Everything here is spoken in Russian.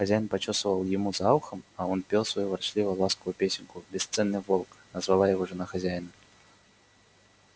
хозяин почёсывал ему за ухом а он пел свою ворчливо ласковую песенку бесценный волк назвала его жена хозяина